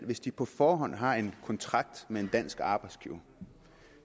hvis de på forhånd har en kontrakt med en dansk arbejdsgiver